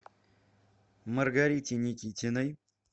маргарите никитиной